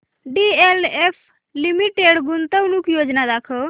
DLF limited गुंतवणूक योजना दाखव